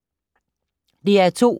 DR2